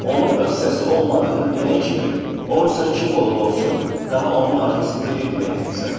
Onun öz səsi olmadığını bilən kimi, o insan kim olur-olsun, daha onun arxasınca getməyəcəksən.